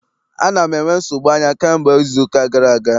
Ana m enwe nsogbu anya kamgbe izuụka gara aga.